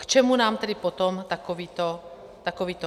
K čemu nám tedy potom takovéto sdělení je?